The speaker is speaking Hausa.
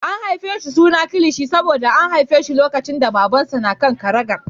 An raɗa masa suna Kilishi saboda an haife shi lokacin da Babansa na kan karagar.